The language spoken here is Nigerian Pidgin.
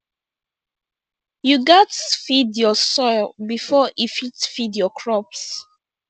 you gatz feed your soil before e fit feed your crops